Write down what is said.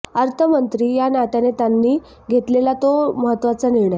अर्थमंत्री या नात्याने त्यांनी घेतलेला तो महत्त्वाचा निर्णय